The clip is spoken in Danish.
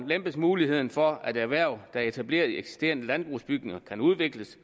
lempes muligheden for at erhverv der er etableret i eksisterende landbrugsbygninger kan udvikles